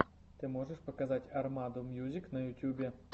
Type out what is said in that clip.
ты можешь показать армаду мьюзик на ютьюбе